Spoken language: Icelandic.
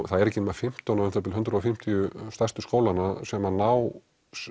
það eru ekki nema umþb fimmtán hundrað og fimmtíu stærstu skólanna sem að ná